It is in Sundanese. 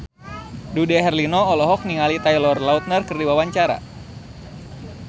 Dude Herlino olohok ningali Taylor Lautner keur diwawancara